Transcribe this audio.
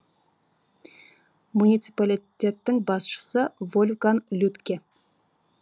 муниципалитеттің басшысы вольфганг людтке